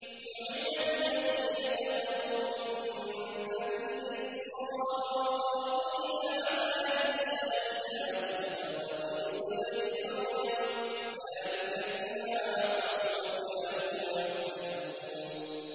لُعِنَ الَّذِينَ كَفَرُوا مِن بَنِي إِسْرَائِيلَ عَلَىٰ لِسَانِ دَاوُودَ وَعِيسَى ابْنِ مَرْيَمَ ۚ ذَٰلِكَ بِمَا عَصَوا وَّكَانُوا يَعْتَدُونَ